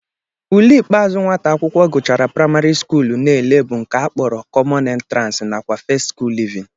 Ule ikpeazụ nwata akwụkwọ gụchara praịmarị skuulu na-ele bụ nke a kpọrọ kọmọn entransị nakwa festị skuulu livinị